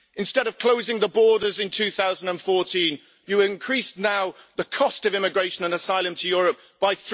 Instead of closing the borders in 2014, you increase now the cost of immigration and asylum to Europe by